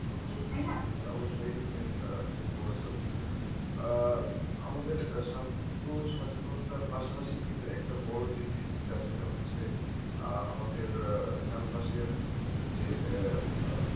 করে থাকি। তাই না, অবশ্যই তুমি ঠিকই বলেছ আহ আমাদের স্বাস্থ্য সচেতনতার পাশাপাশি কিন্তু একটা বড় যে জিনিসটা সেটা হচ্ছে আহ আমাদের চারপাশের যে,